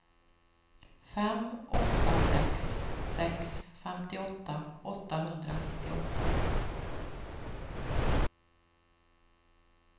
fem åtta sex sex femtioåtta åttahundranittioåtta